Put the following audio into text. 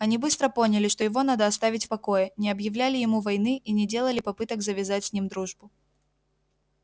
они быстро поняли что его надо оставить в покое не объявляли ему войны и не делали попыток завязать с ним дружбу